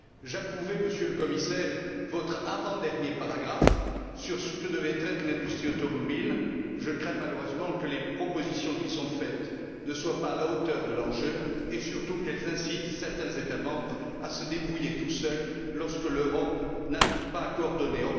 J'approuvais, Monsieur le Commissaire, votre avant dernier paragraphe sur ce que devrait être l'industrie automobile. Je crains, malheureusement, que les propositions qui sont faites ne soient pas à la hauteur de l'enjeu et, surtout, qu'elles incitent certains États membres à se débrouiller tout seuls lorsque l'Europe n'arrive pas à coordonner.